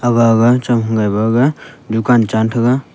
gaga chang thaga gaga dukan chan thaga.